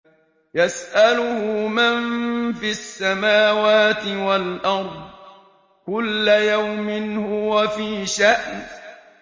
يَسْأَلُهُ مَن فِي السَّمَاوَاتِ وَالْأَرْضِ ۚ كُلَّ يَوْمٍ هُوَ فِي شَأْنٍ